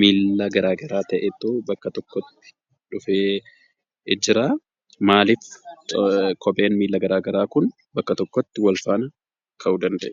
miilla garaa garaa ta'etu bakka tokkotti dhufee jira. Maaliif kopheen miilla garaa garaa kun bakka tokkotti ka'uu danda'e?